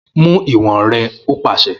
Mu iwọn rẹ o paṣẹ!